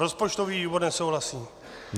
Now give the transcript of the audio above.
Rozpočtový výbor nesouhlasí.